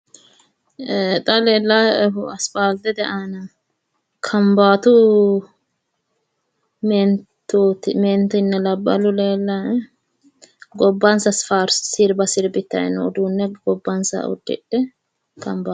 Xa leellaa'ehu asiphaaltete aana kambaatu meentinna labballi leellaa'e gobbansa sirba sirbitanni no uduunne gobbansaha uddidhe.